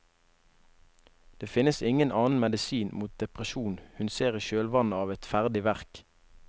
Det finnes ingen annen medisin mot depresjonen hun ser i kjølvannet av et ferdig verk.